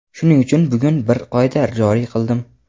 shuning uchun bugun bir qoida joriy qildim.